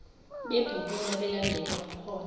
bebhukula belandela umkhondo